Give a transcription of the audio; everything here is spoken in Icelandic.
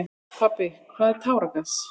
Pabbi, hvað er táragas?